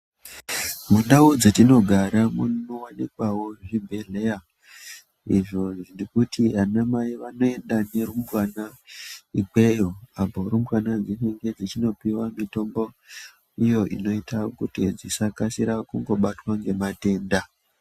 Mundau dzetinogara munowanikwawo zvibhedhlera izvo zvirikuti vanamai vanoenda nerumbwana ikweyo apo rumbwana dzinenge dzipuwa mitombo iyo inoita kuti dzisakasire kubatwa ngematenda.